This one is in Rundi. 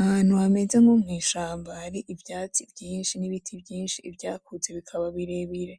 Ahantu hameze nko mwishamba hari ivyatsi vyinshi n'ibiti vyinshi ivyakuzee bikaba birebire